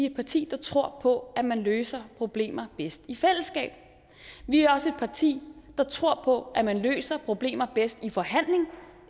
et parti der tror på at man løser problemer bedst i fællesskab vi er også et parti der tror på at man løser problemer bedst i en forhandling